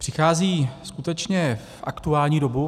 Přichází skutečně v aktuální dobu.